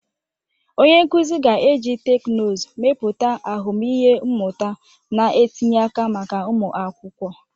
Onye nkuzi ga-eji teknụzụ mepụta ahụmịhe mmụta na-etinye aka maka ụmụ akwụkwọ.